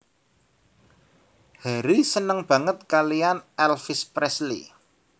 Harry seneng banget kalian Elvis Presley